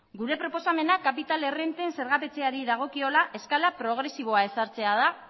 gure proposamena kapital errenten zergapetzeari dagokiola eskala progresiboa ezartzea da